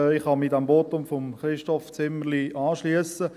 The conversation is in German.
Ich kann mich dem Votum von Christoph Zimmerli anschliessen.